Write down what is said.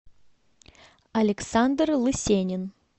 александр лысенин